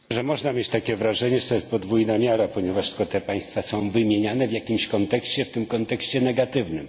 że można mieć takie wrażenie, że to jest podwójna miara, ponieważ tylko te państwa są wymieniane w jakimś kontekście, w tym kontekście negatywnym.